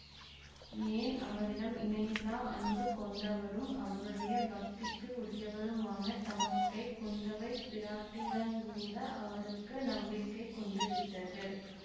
ஏன் அவரிடம் இணையில்லா அன்பு கொண்டவரும் அவருடைய பக்திக்கு உரியவருமான தமக்கை குந்தவைப் பிராட்டியிடங்கூட அவருக்கு நம்பிக்கை குன்றிவிட்டது